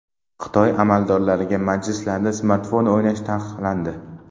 Xitoy amaldorlariga majlislarda smartfon o‘ynash taqiqlandi.